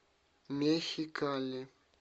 мехикали